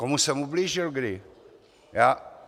Komu jsem ublížil kdy?